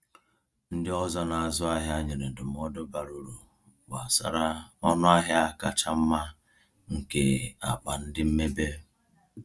Ndị ọzọ na-azụ ahịa nyere ndụmọdụ bara uru gbasara ọnụ ahịa kacha mma nke akpa ndị mmebe.